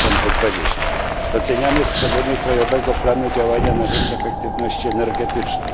2020. Doceniamy stworzenie krajowego planu działania na rzecz efektywności energetycznej.